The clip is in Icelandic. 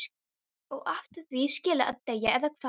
Og átti því skilið að deyja, eða hvað?